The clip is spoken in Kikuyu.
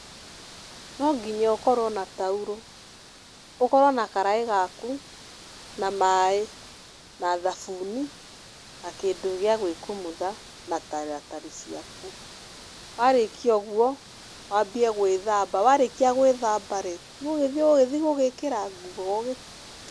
No nginya ũkorwo na taurũ. Ũkorwo na karaĩ gaku, na maĩ, na thabuni, na kĩndũ gĩa gwĩkumutha, na taratari ciaku. Warĩkia ũguo, wambie gwĩthamba. Warĩkia gwĩthamba rĩ, nĩ ũĩ nĩ ũgũgĩthi gwĩkĩra nguo.